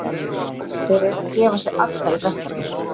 Þeir eru að gefa sig alla í verkefnið.